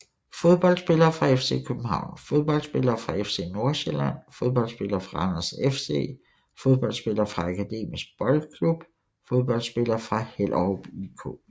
Fodboldspillere fra FC København Fodboldspillere fra FC Nordsjælland Fodboldspillere fra Randers FC Fodboldspillere fra Akademisk Boldklub Fodboldspillere fra Hellerup IK